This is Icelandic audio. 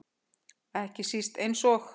Ekki síst eins og